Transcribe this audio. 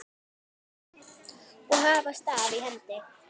og hafa staf í hendi.